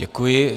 Děkuji.